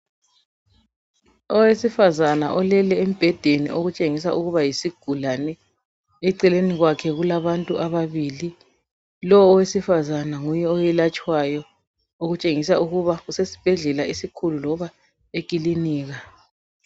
Owesifazana olele embhedeni okutshengisa ukuba yisigulane, eceleni kwakhe kulabantu ababili, lo owesifazana nguye oyelatshwayo okutshengisa ukuba usesibhedlela esikhulu loba ekilinika.